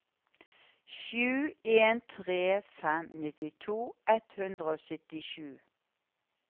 sju en tre fem nittito ett hundre og syttisju